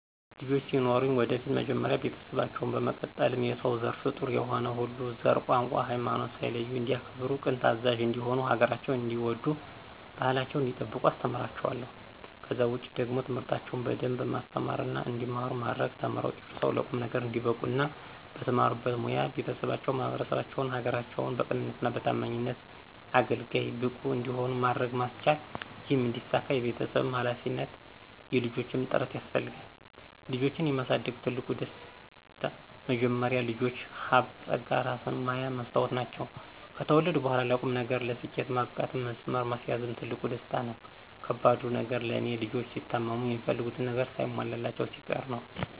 ልጆች ሲኖሩኝ ወደፊት መጀመሪያ ቤተሰባቸውን፣ በመቀጠልም የሰው ዘር ፍጡር የሆነ ሁሉ ዘር፣ ቋንቋ፣ ሀይማኖት ሳይለዩ እንዲያከብሩ ቅን ታዛዥ እንዲሆኑ ሀገራቸውን እንዲወዱ ባህላቸውን እንዲጠብቁ አስተምራቸዋለሁ። ከዛ ውጪ ደግሞ ትምህርታቸውን በደንብ ማስተማርና እንዲማሩ ማድረግ ተምረው ጨርሰው ለቁም ነገር እንዲበቁ እና በተማሩበት ሞያ ቤተሰባቸውን፣ ማህበረሰባቸውን፣ ሀገራቸውን በቅንነትና በታማኝነት አገልጋይ፣ ብቁ እንዲሆኑ ማድረግ ማስቻል ይህም እንዲሳካ የቤተሰብም ሀላፊነት የልጆችም ጥረት ያስፈልጋል። ልጆችን የማሳደግ ትልቁ ደስ፦ መጀመሪያ ልጆች ሀብት ፀጋ እራስን ማያ መስታወት ናቸው። ከተወለዱ በኋላም ለቁም ነገር፣ ለስኬት ማብቃትም መስመር ማስያዝም ትልቁ ደስታ ነው። ከባዱ ነገር ለኔ፦ ልጆች ሲታመሙ፣ የሚፈልጉትን ነገር ሳይሟላላቸው ሲቀር ነው።